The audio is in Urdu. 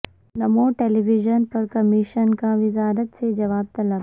نمو ٹیلی ویژن پر کمیشن کا وزارت سے جواب طلب